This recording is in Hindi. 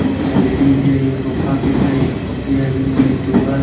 एक एल_ई_डी भी हैं एक सोफा सेट है एक कुर्सी है बीच में एक टेबल --